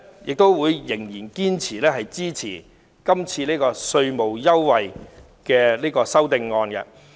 我仍然堅決支持這項有關稅務優惠的修正案。